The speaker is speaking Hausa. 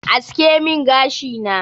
Aske min gashi na.